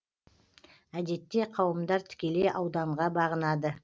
әдетте кауымдар тікелей ауданға бағынады